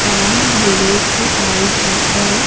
शाम ढलने को आई है और--